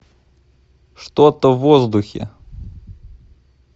что то в воздухе